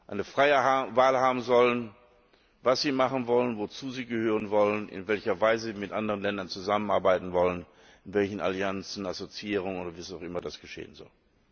Eine freie Wahl haben sollen in Bezug darauf, was sie machen wollen, wozu sie gehören wollen, in welcher Weise sie mit anderen Ländern zusammenarbeiten wollen, in welchen Allianzen, Assoziierungen oder wie auch immer das geschehen soll.